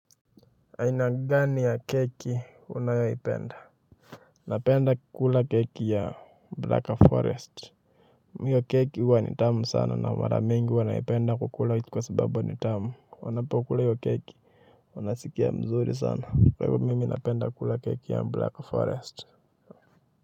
Aina gani ya keki unayoipenda napenda kula keki ya black forest, hiyo keki huwa ni tamu sana na mara nyingi huwa naipenda kula kwa sababu ni tamu wanapokula hiyo keki wanasikia mzuri sana kwa hiyo mimi napenda kula keki ya black forest.